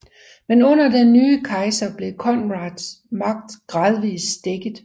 Men under den nye kejser blev Conrads magt gradvis stækket